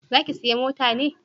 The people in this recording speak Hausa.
Za ki saya mota ne?